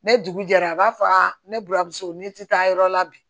Ne dugu jɛra a b'a fɔ aa ne buramuso n'i ti taa yɔrɔ la bi